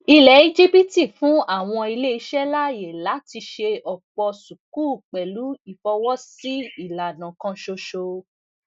ilẹ íjíbítì fún àwọn iléiṣẹ láàyè láti ṣe ọpọ sukuk pẹlú ìfọwọsí ìlànà kan ṣoṣo